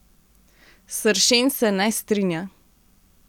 Sršen se ne strinja.